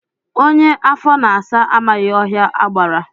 Onye afọ na-asa amaghị ọhịa agbara